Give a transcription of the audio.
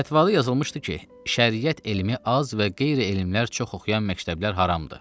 Fətvada yazılmışdı ki, Şəriət elmi az və qeyri-elmlər çox oxuyan məktəblər haramdır.